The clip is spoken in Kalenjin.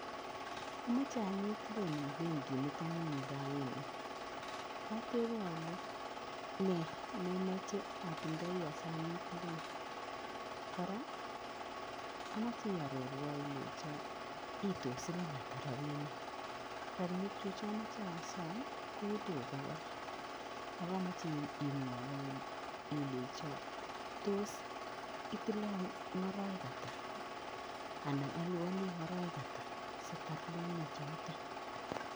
Amoche anyiit loan en benkinitokng'ung raini. Kotebe ale nee nemoche atindoi asii anyiit loan, kora amoche iororuon ilenchoniytos siling ata rabinik, rabinikyuk chemoee osom ko elibu bokol akomoche imwowon ilenchon tos itilon ing orowek ataa anan olibonii eng orowek ataa siatar loan ichotok.